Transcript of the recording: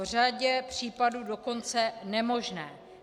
V řadě případů dokonce nemožné.